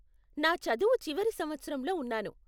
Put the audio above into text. నా చదువు చివరి సంవత్సరంలో ఉన్నాను.